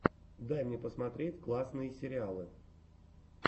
дай мне посмотреть классные сериалы